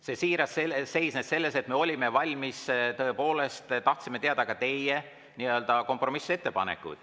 See siirus seisnes selles, et me olime valmis ja tõepoolest tahtsime teada ka teie nii-öelda kompromissettepanekuid.